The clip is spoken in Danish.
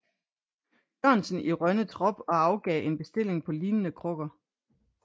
Jørgensen i Rønne trop og afgav en bestilling på lignende krukker